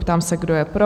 Ptám se, kdo je pro?